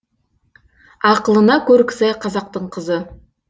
ақылына көркі сай қазақтың қызы